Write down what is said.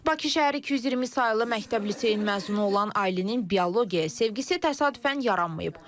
Bakı şəhəri 220 saylı məktəb liseyin məzunu olan Aylinin biologiyaya sevgisi təsadüfən yaranmayıb.